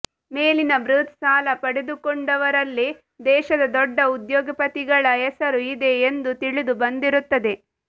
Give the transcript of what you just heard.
ಮೇಲಿನ ಬೃಹತ್ ಸಾಲ ಪಡೆದುಕೊಂಡವರಲ್ಲಿ ದೇಶದ ದೊಡ್ಡ ಉದ್ಯೋಗಪತಿಗಳ ಹೆಸರು ಇದೆ ಎಂದು ತಿಳಿದು ಬಂದಿರುತ್ತದೆ